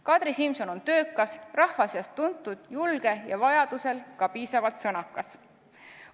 Kadri Simson on töökas, rahva seas tuntud, julge ja vajadusel ka piisavalt sõnakas.